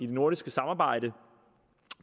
det nordiske samarbejde